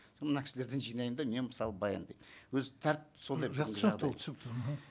соны мына кісілерден жинаймын да мен мысалы баяндаймын өзі тәртіп сондай жақсы түсінікті ол түсінікті мхм